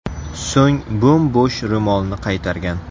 So‘ng bo‘m-bo‘sh ro‘molni qaytargan.